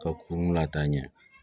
Ka kurun lataa ɲɛ